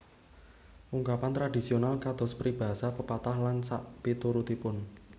Ungkapan tradhisional kados peribahasa pepatah lan sakpiturutipun